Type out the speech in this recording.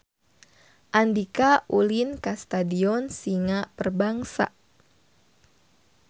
Andika ulin ka Stadion Singa Perbangsa